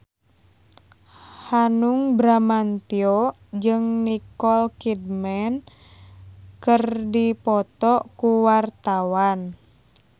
Hanung Bramantyo jeung Nicole Kidman keur dipoto ku wartawan